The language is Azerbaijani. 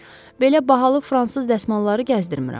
Belə bahalı fransız dəsmalları gəzdirmirəm.